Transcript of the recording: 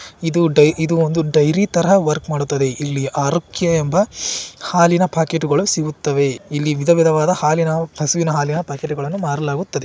ಇದ ಡೈ ಒಂದು ಡೈರಿ ತರ ವರ್ಕ್ ಮಾಡುತ್ತದೆ ಇಲ್ಲಿ ಆರೋಗ್ಯ ಎಂಬ ಹಾಲಿನ ಪ್ಯಾಕೆಟ್ ಗುಳು ಸಿಗುತ್ತವೆ ಇಲ್ಲಿ ವಿಧವಿಧವಾದ ಹಾಲಿನ ಹಸುವಿನ ಹಾಲಿನ ಪಾಕೆಟ್ಟು ಗಳನ್ನು ಮಾಡಲಾಗುತ್ತದೆ